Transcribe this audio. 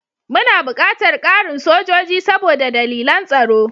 Muna buƙatar ƙarin sojoji saboda dalilan tsaro.